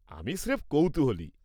আমি স্রেফ কৌতূহলী।